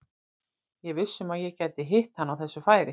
Ég er viss um að ég gæti hitt hann á þessu færi.